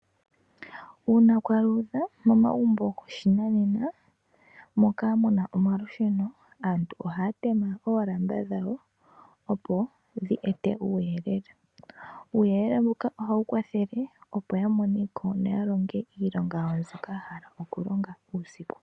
Uuna kwaaludha momagumbo goshinanena moka muna omalusheno aantu ohaya teme oolamba dhawo opo dhi ete uuyelele. Uuyelele mbuka ohawu kwathele opo yamoneko noyalonge iilonga yawo mbyoka haya vulu okulonga uusiku.